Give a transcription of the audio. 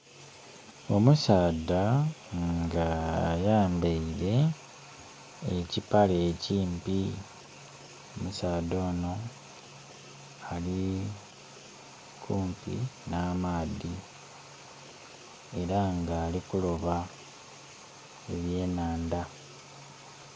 Omusaadha nga ayambeire ekipale ekimpi, omusaadha ono ali kumpi n'amaadhi era nga ali kuloba ebyenandha.